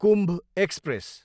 Kumbh express